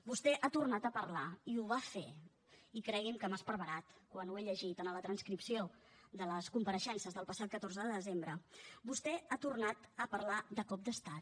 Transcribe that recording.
vostè ha tornat a parlar i ho va fer i cregui’m que m’ha esparverat quan ho he llegit en la transcripció de les compareixences del passat catorze de desembre de cop d’estat